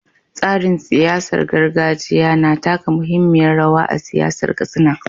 Tsarin siyasar gargajiya na taka muhimmiyar rawa a siyasar Katsina.